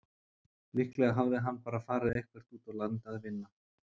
Líklega hafði hann bara farið eitthvert út á land að vinna.